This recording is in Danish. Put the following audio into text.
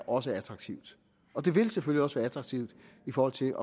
også er attraktivt det vil selvfølgelig også være attraktivt i forhold til